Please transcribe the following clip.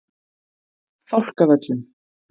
Fálkavöllum